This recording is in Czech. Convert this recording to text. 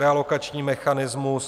Realokační mechanismus.